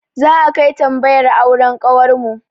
Za'a kai tambayar auren kawarmu.